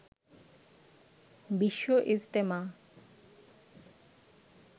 Bishwa Ijtema